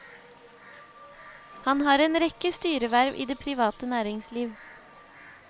Han har en rekke styreverv i det private næringsliv.